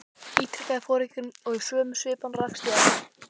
ítrekaði foringinn og í sömu svipan rakst ég á hann.